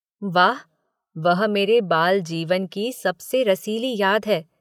वाह वह मेरे बालजीवन की सबसे रसीली याद है।